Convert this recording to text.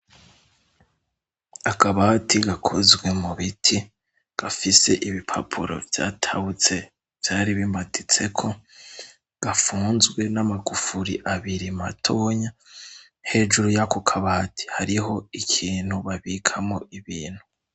Akabati gakozwe mu biti gafise ibipapuro vyatawutse vyari bimatitseko gafunzwe n'amagufuri abiri matonya hejuru y'ako kabati hariho ikintu babikamo ibintu.